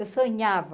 Eu sonhava.